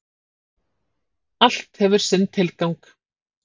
Allt hefur sinn tilgang.